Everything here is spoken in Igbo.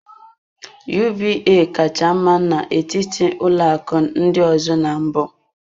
UBA kacha mma n'etiti ụlọ akụ ndị ọzọ na mbụ.